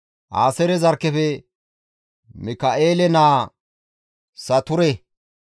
Aaseere zarkkefe Mika7eele naa Sature